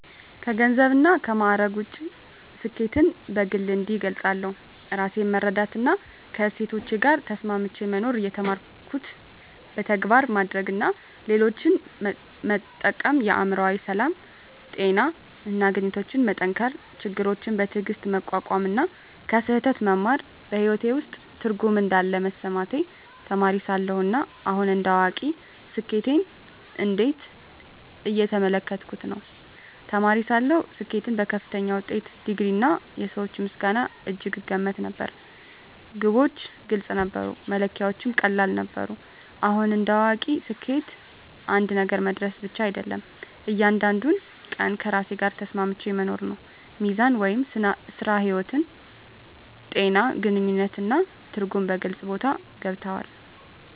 ከገንዘብና ከማዕረግ ውጭ፣ ስኬትን በግል እንዲህ እገልጻለሁ፦ ራሴን መረዳትና ከእሴቶቼ ጋር ተስማምቼ መኖር የተማርኩትን በተግባር ማድረግ እና ሌሎችን መጠቀም የአእምሮ ሰላም፣ ጤና እና ግንኙነቶችን መጠንከር ችግሮችን በትዕግስት መቋቋም እና ከስህተት መማር በሕይወቴ ውስጥ ትርጉም እንዳለ መሰማቴ ተማሪ ሳለሁ እና አሁን እንደ አዋቂ ስኬትን እንዴት እየተመለከትኩ ነው? ተማሪ ሳለሁ ስኬትን በከፍተኛ ውጤት፣ ዲግሪ፣ እና የሰዎች ምስጋና እጅግ እገመት ነበር። ግቦች ግልጽ ነበሩ፣ መለኪያዎቹም ቀላል ነበሩ። አሁን እንደ አዋቂ ስኬት አንድ ነገር መድረስ ብቻ አይደለም፤ እያንዳንዱን ቀን ከራሴ ጋር ተስማምቼ መኖር ነው። ሚዛን (ሥራ–ሕይወት)፣ ጤና፣ ግንኙነት እና ትርጉም በግልጽ ቦታ ገብተዋል።